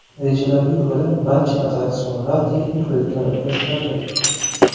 Rejalarga ko‘ra, barcha attraksionlar texnik ko‘rikdan o‘tkaziladi.